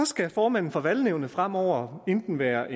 skal formanden for valgnævnet fremover enten være